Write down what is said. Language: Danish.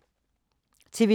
TV 2